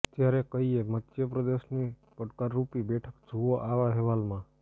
ત્યારે કઈ એ મધ્યપ્રદેશની પડકારરૂપી બેઠક જુઓ આ અહેવાલમાં